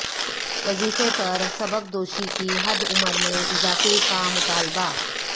وظیفے پر سبکدوشی کی حد عمر میں اضافہ کا مطالبہ